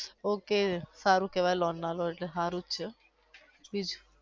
okay સારું કેવાઈ loan ના લો એટલે હારું જ છે.